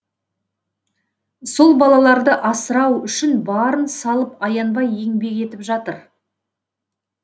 сол балаларды асырау үшін барын салып аянбай еңбек етіп жатыр